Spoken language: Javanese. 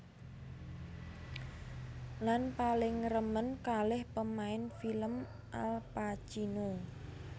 Lan paling remen kalih pemain film Al Pacino